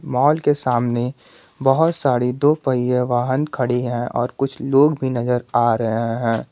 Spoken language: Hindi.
मॉल के सामने बहुत सारी दो पहियां वाहन खड़ी है और कुछ लोग भी नजर आ रहे हैं।